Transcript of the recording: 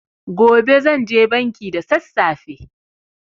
Gobe zanje banki da sassafe.